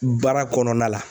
Baara kɔnɔna la.